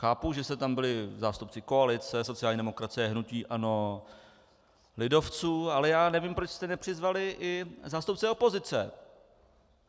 Chápu, že jste tam byli zástupci koalice, sociální demokracie, hnutí ANO, lidovců, ale já nevím, proč jste nepřizvali i zástupce opozice.